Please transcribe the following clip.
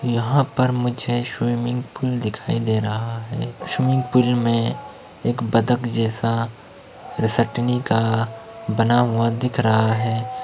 यहाँं पर मुझे स्विमिंग पूल दिखाई दे रहा है। स्विमिंग पूल में एक बदक जैसा रिसटनी का बना हुआ दिख रहा है।